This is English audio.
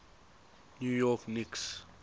new york knicks